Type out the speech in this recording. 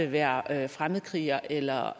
være være fremmedkriger eller